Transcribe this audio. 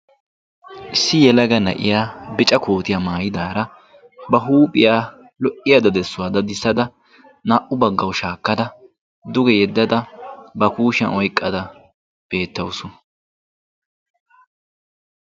issi yelaga na'iya bica kootiyaa maayidaara ba huuphiyaa lo"iyaa dadissuwaa dadissada naa"u baggaw shaakkada duge yeddada ba kushiyan oyqqada beettawusu.